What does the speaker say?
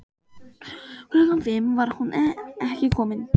Klukkan fimm var hún enn ekki komin.